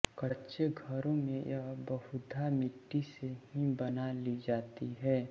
कच्चे घरों में यह बहुधा मिट्टी से ही बना ली जाती है